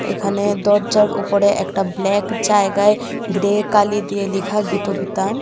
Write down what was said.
এখানে দরজার ওপরে একটা ব্ল্যাক জায়গায় গ্রে কালি দিয়ে লিখা গীতবিতান .